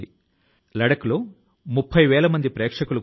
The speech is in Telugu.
ఆ లక్ష్యాలు ఇంతకు ముందు మనం ఊహించనివి కూడా కావచ్చు